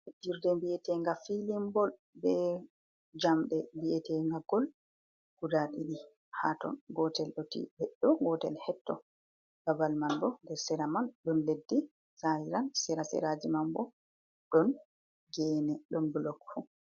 Fejirɗe vi'etenga film bol, ɓe jamɗe vi'etega gol, guɗa ɗiɗi ha ton, gotel ɗo titi heɗɗo, gotel hetto. Ɓaɓal man ɓo nɗer sera man ɗum leɗɗi, saliran sera seraji man ɓo ɗon gene, ɗon bulok fu.